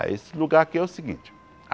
Esse lugar aqui é o seguinte. A